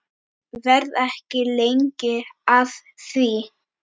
Verð ekki lengi að því.